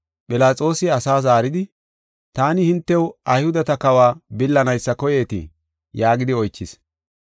Philaxoosi asa zaaridi, “Taani hintew Ayhudeta kawa billanaysa koyeetii?” yaagidi oychis.